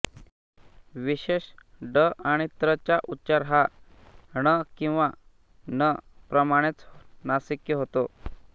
विशेष ङ आणि ञ चा उच्चार हा ण किंवा न प्रमाणेच नासिक्य होतो